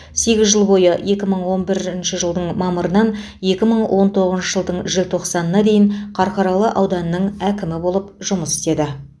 сегіз жыл бойы екі мың он бірінші жылдың мамырынан екі мың он тоғызыншы жылдың желтоқсанына дейін қарқаралы ауданының әкімі болып жұмыс істеді